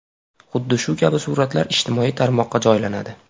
Xuddi shu kabi suratlar ijtimoiy tarmoqqa joylanadi.